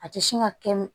A tɛ sin ka kɛ